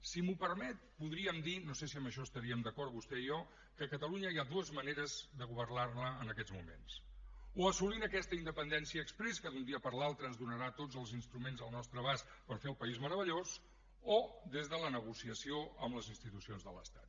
si m’ho permet podríem dir no sé si amb això estaríem d’acord vostè i jo que catalunya hi ha dues maneres de governarla en aquests moments o assolint aquesta independència exprés que d’un dia per l’altre ens donarà tots els instruments al nostre abast per fer el país meravellós o des de la negociació amb les institucions de l’estat